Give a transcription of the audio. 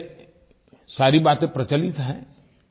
वैसे सारी बातें प्रचलित हैं